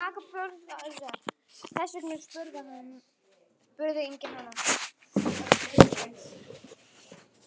Þess vegna spurði enginn hana.